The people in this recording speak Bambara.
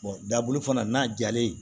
dabulu fana n'a jalen